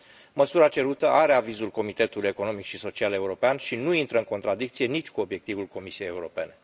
Măsura cerută are avizul Comitetului Economic și Social European și nu intră în contradicție nici cu obiectivul Comisiei Europene.